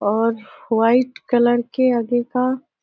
और white colour के आगे का --